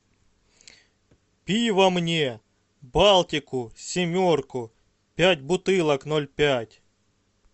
пиво мне балтику семерку пять бутылок ноль пять